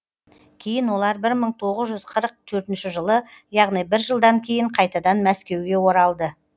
кейін олар бір мың тоғыз жүз қырық төртінші жылы яғни бір жылдан кейін қайтадан мәскеуге оралып